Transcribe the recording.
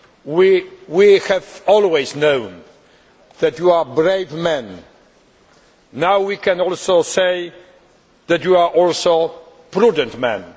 We have always known that you are brave men now we can also say that you are prudent men.